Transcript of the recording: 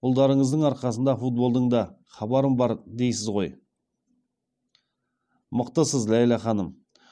ұлдарыңыздың арқасында футболдан да хабарым бар дейсіз ғой мықтысыз ләйлә ханым